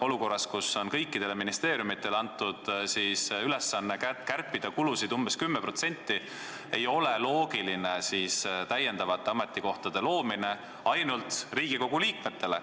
Olukorras, kus kõikidele ministeeriumitele on antud ülesanne kärpida kulusid umbes 10%, ei ole loogiline luua lisaametikohti ainult Riigikogu liikmetele.